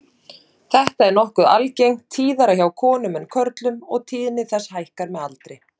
Þetta er nokkuð algengt, tíðara hjá konum en körlum og tíðni þess hækkar með aldri.